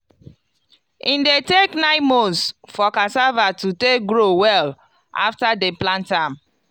e dey take nine months for cassava to take grow well after dem plant am.